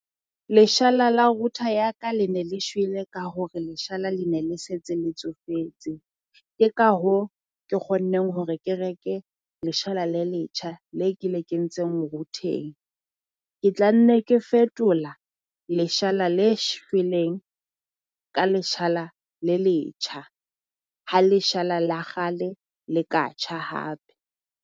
Leshala la router ya ka le ne le shwele ka hore leshala le ne le setse le tsofetse, Ke ka hoo ke kgonneng hore ke reke leshala le letjha le ke le kentseng router-eng. Ke tla nne ke fetola leshala le shweleng ka leshala le letjha ha leshala la kgale le ka tjha hape.